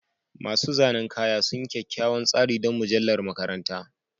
Masu zanen kaya sun yi kyakkyawan tsari don mujallar makaranta